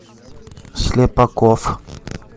слепаков